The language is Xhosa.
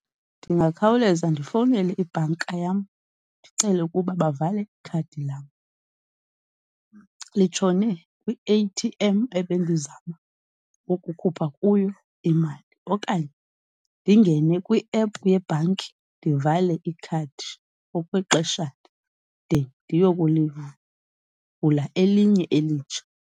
Ndingakhawuleza ndifowunele ibhanka yam, ndicele ukuba bavale ikhadi lam. Litshone kwi-A_T_M ebendizama ukukhupha kuyo imali. Okanye ndingene kwi-app yebhanki ndivale ikhadi okwexeshana de ndiyokulivula elinye elitsha.